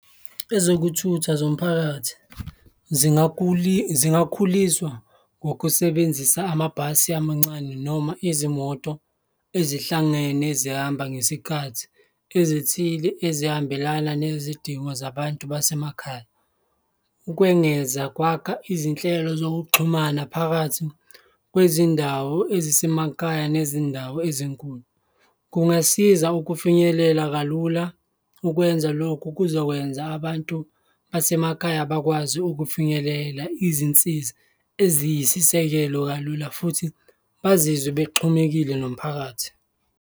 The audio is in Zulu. Ezokuthutha zomphakathi zingakhuliswa ngokusebenzisa amabhasi amancane noma izimoto ezihlangene zihamba ngesikhathi ezithile, ezihambelana nezidingo zabantu basemakhaya. Ukwengeza kwakha izinhlelo zokuxhumana phakathi kwezindawo ezisemakhaya nezindawo ezinkulu, kungasiza ukufinyelela kalula, ukwenza lokhu kuzokwenza abantu basemakhaya bakwazi ukufinyelela izinsiza eziyisisekelo kalula futhi bazizwe bexhumekile nomphakathi.